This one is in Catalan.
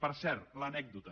per cert l’anècdota